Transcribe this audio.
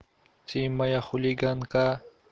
ты моя хулиганка